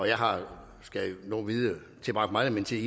jeg har tilbragt meget af min tid